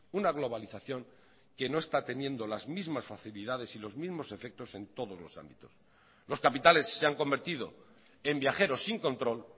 una globalización que no está teniendo las mismas facilidades y los mismos efectos en todos los ámbitos los capitales se han convertido en viajeros sin control